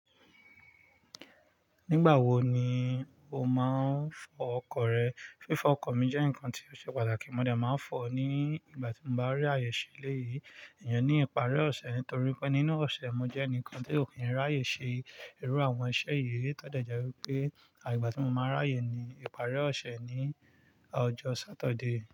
Nígbà wo ni o máa ń fọ ọkọ̀ rẹ? Fífọ ọkọ̀ mi jẹ́ nǹkan tí ó ṣe pàtàkì. Mo dẹ̀ máa ń fọ ó ní ìgbà tí mo bá rí àyè ṣe eléyìí, ìyẹn ní ìparí ọ̀sẹ̀ nítorí pé nínú ọ̀sẹ̀, mo jẹ́ ẹnìkan tí ò kí ń ráyè ṣe irú àwọn iṣẹ́ yìí. Eyi to dẹ̀ jẹ́ wípé ìgbà tí mo máa n ráyè ni ìparí ọ̀sẹ̀ ní ọjọ́ Saturday.